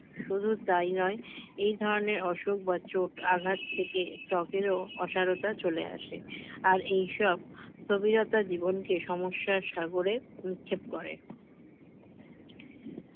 শুধু তাই নয় এই ধরনের অসুখ বা চোখ আঘাত থেকে ত্বকেরও অসারতা চলে আসে আর এইসব স্থবিরতা জীবনকে সমস্যার সাগরে নিক্ষেপ করে